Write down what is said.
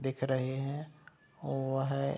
दिख रहे हैं ओवहे --